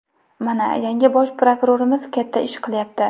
Mana, yangi bosh prokurorimiz katta ish qilyapti.